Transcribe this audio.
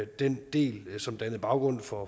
den del som dannede baggrund for